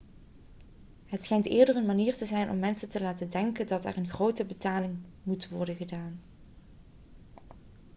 het schijnt eerder een manier te zijn om mensen te laten denken dat er een grotere betaling moet worden gedaan